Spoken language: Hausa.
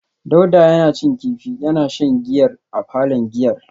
Dauda yana cin kifi yana shan giyar a palon giyar